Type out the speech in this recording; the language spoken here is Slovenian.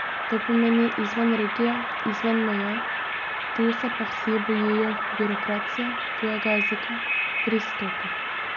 To pomeni izven regije, izven meja, tu se pa vsi bojijo birokracije, tujega jezika, pristopa.